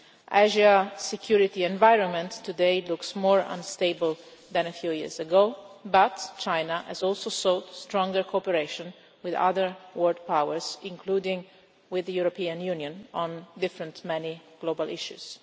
Asia's security environment today looks more unstable than a few years ago but China has also sought stronger cooperation with other world powers, including with the European Union on many different global issues.